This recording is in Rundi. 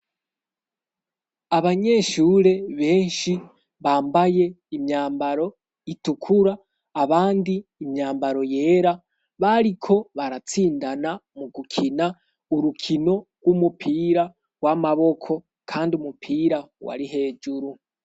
abanyeshure benshi bambaye imyambaro itukura, abandi imyambaro yera bariko baratsindana mu gukina urukino rw'umupira w'amaboko, kandi umupira wari hejuru.